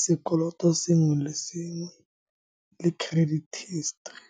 sekoloto sengwe le sengwe, le credit history.